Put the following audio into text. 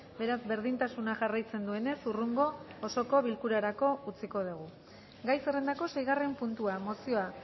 beraz berdintasuna jarraitzen duenez hurrengo osoko bilkurarako utziko dugu gai zerrendako seigarren puntua mozioa